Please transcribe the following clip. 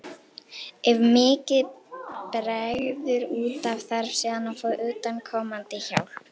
Ef mikið bregður út af þarf síðan að fá utanaðkomandi hjálp.